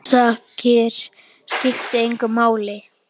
Orsakir skipta engu máli.